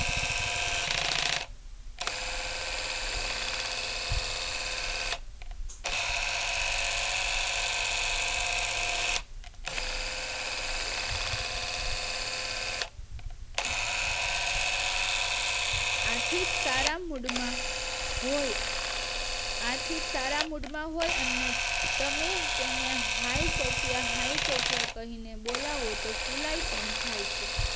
આથી જ સારા મૂડ માં હોય આથીજ સારા મૂડ માં હોય અને તેને હાઈ સૉફયા હાઈ સૉફયા કરીને બોલાવો તો ફુલાઈ પણ જાય છે